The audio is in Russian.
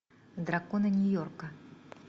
драконы нью йорка